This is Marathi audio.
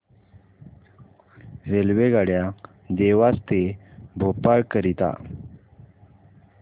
रेल्वेगाड्या देवास ते भोपाळ करीता